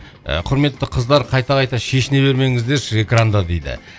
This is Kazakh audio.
құрметті қыздар қайта қайта шешіне бермеңіздерші экранда дейді